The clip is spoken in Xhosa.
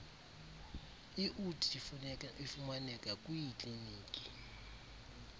iud ifumaneka kwiikliniki